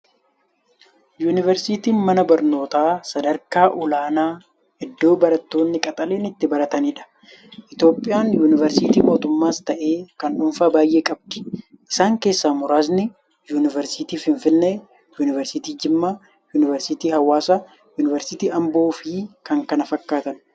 Yuunivarsiitiin mana barnootaa sadarkaa olaanaa, iddoo barattootni qaxaleen itti barataniidha. Itiyoophiyaan yuunivarsiitota mootummaas ta'ee kan dhuunfaa baay'ee qabdi. Isaan keessaa muraasni yuunivarsiitii Finfinnee, yuunivarsiitii Jimmaa, yuunivarsiitii Hawwaasaa, yuunivarsiitii Amboofi kan kana fakkaatan.